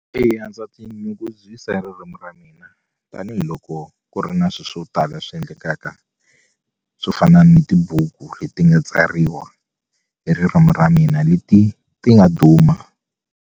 Eya ndza tinyungubyisa hi ririmi ra mina tanihiloko ku ri na swi swo tala swi endlekaka swo fana ni tibuku leti nga tsariwa hi ririmu ra mina leti ti nga duma.